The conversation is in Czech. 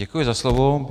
Děkuji za slovo.